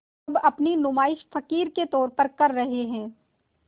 अब अपनी नुमाइश फ़क़ीर के तौर पर कर रहे हैं